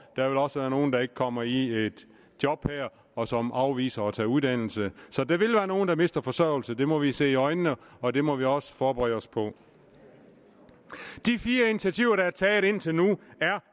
der vil også være nogle der ikke kommer i job og som afviser at tage uddannelse så der vil være nogen der mister forsørgelse det må vi se i øjnene og det må vi også forberede os på de fire initiativer der er taget indtil nu er